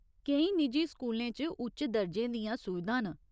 केईं निजी स्कूलें च उच्च दर्जे दियां सुविधां न।